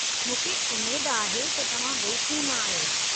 मूंखे उमेद आहे त तव्हां वेश्नू न आहियो?